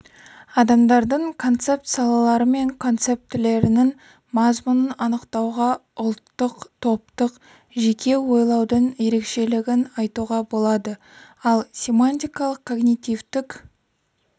адамдардың концепт салалары мен концептілерінің мазмұнын анықтауға ұлттық топтық жеке ойлаудың ерекшелігін айтуға болады ал семантикалық-когнитивтік